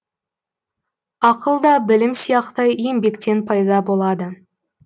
ақыл да білім сияқты еңбектен пайда болады